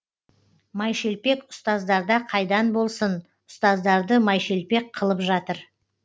майшелпек ұстаздарда қайдан болсын ұстаздарды майшелпек қылып жатыр